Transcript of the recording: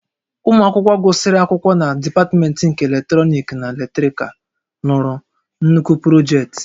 Ụmụ akwụkwọ gụsịrị akwụkwọ na dipatmentị nke Eletrọnịkị na Elektrikal lụrụ nnukwu projektị